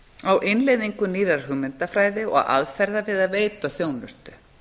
á innleiðingu nýrrar hugmyndafræði og aðferða við að veita þjónustu